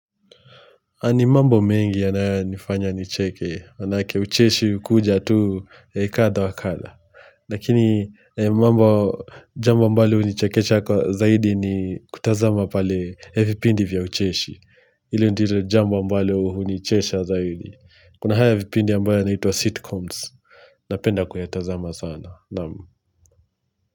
Ni mambo mengi yanayonifanya nicheke, maanake ucheshi ukuja tu kadha wa kadha lakini mambo, jambo ambalo unichekecha kwa zaidi ni kutazama pale vipindi vya ucheshi. Hilo ndilo jambo ambalo unichesha zaidi. Kuna hayo vipindi ya ambayo inaitwa sitcoms. Napenda kuyatazama sana.